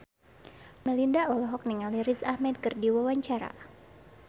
Melinda olohok ningali Riz Ahmed keur diwawancara